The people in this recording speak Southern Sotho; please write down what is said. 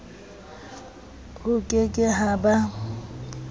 ho ke ke ha ba